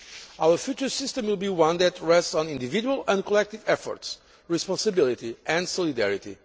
Our future system will be one that rests on individual and collective efforts, responsibility and solidarity.